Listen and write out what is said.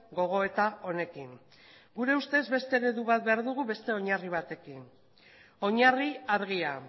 gogoeta honekin gure ustez beste eredu bat behar dugu beste oinarri batekin oinarri argia